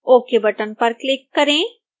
ok button पर click करें